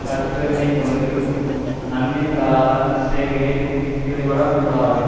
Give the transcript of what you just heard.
தற்பெருமை கொண்டு நன்மை தராத செயல்களில் ஈடுபட கூடாது